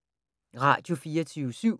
Radio24syv